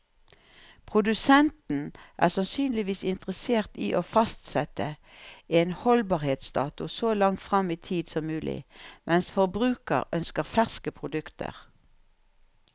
Produsenten er sannsynligvis interessert i å fastsette en holdbarhetsdato så langt frem i tid som mulig, mens forbruker ønsker ferske produkter.